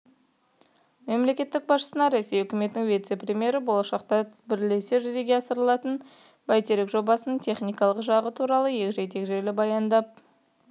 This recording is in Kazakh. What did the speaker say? мемлекет басшысына ресей үкіметінің вице-премьері болашақта бірлесе жүзеге асырылатын бәйтерек жобасының техникалық жағы туралы егжей-тегжейлі баяндап